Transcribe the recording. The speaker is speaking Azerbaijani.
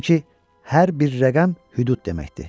Çünki hər bir rəqəm hüdud deməkdir.